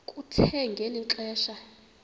kuthe ngeli xesha